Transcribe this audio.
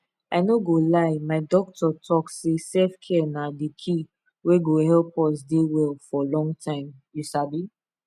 i no go lie my doctor talk say selfcare na di key wey go help us dey well for long time you sabi